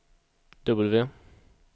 W